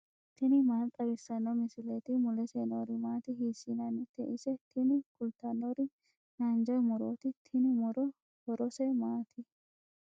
tini maa xawissanno misileeti ? mulese noori maati ? hiissinannite ise ? tini kultannori haanja murooti. tini muro horose maati?